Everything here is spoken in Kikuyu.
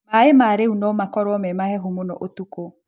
Maĩ ma rũĩ nomakorwo marĩ mahehu mũno ũtukũ